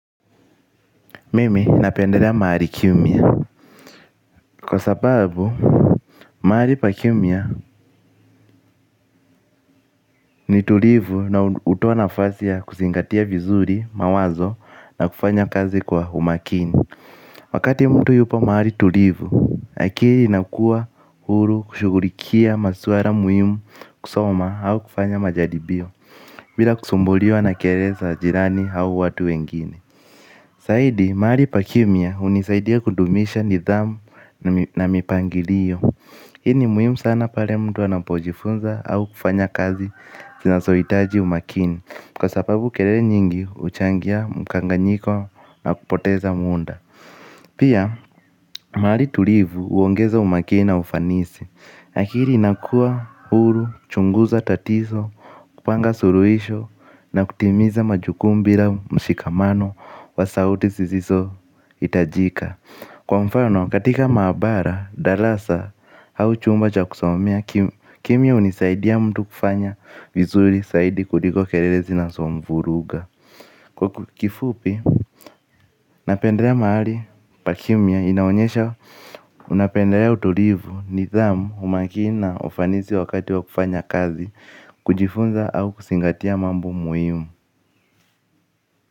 Mimi napendelea mahali kimya kwa sababu mahali pakimya ni tulivu na hutoa nafasi ya kuzingatia vizuri mawazo na kufanya kazi kwa umakini. Wakati mtu yupo mahali tulivu akili inakuwa huru kushughulikia masuala muhimu kusoma au kufanya majaribio. Bila kusumbuliwa na kelele za jirani au watu wengine zaidi mahali pakimya hunisaidia kudumisha nidhamu na mipangilio. Hii ni muhimu sana pale mtu anapojifunza au kufanya kazi zinazohitaji umakini kwa sababu kelele nyingi huchangia mkanganyiko na kupoteza muda. Pia mahali tulivu huongeza umakini na ufanisi lakini inakuwa huru, chunguza tatizo, kupanga suluhisho na kutimiza majukumu bila mshikamano wa sauti zisiso hitajika, kwa mfano katika maabara, darasa au chumba cha kusomea kimya hunisaidia mtu kufanya vizuri zaidi kuliko kelele zinazomvuruga. Kwa kifupi napendelea mahali pakimya inaonyesha napendelea utulivu, nidhamu, umakini na ufanisi wakati wa kufanya kazi kujifunza au kuzingatia mambo muhimu.